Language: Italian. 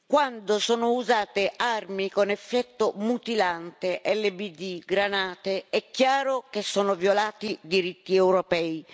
Quando sono usate armi con effetto mutilante, LBD, granate, è chiaro che sono violati diritti europei.